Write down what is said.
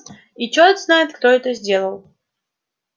и чёрт знает кто это сделал